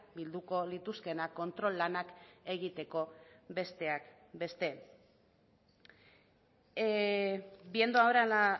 bilduko lituzkeena kontrol lanak egiteko besteak beste viendo ahora la